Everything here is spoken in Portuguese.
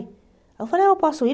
Aí eu falei, eu posso ir?